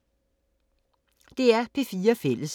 DR P4 Fælles